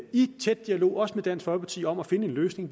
i tæt dialog også med dansk folkeparti om at finde en løsning